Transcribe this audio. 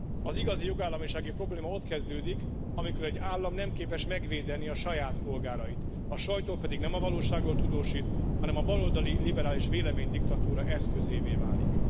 Az igazi jogállamisági probléma ott kezdődik, amikor egy állam nem képes megvédeni a saját polgárait, a sajtó pedig nem a valóságról tudósít, hanem a baloldali liberális véleménydiktatúra eszközévé válik.